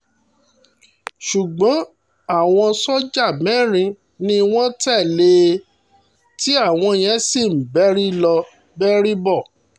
ṣùgbọ́n àwọn sójà mẹ́rin ni wọ́n tẹ̀lé e tí àwọn yẹn ń bẹ́rí lọ bẹ́rí bọ̀